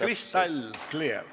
Crystal clear!